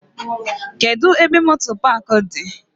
Kedụ ebe moto paaki dị?